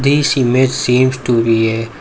This image seems to be a --